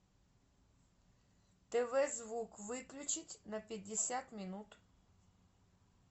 тв звук выключить на пятьдесят минут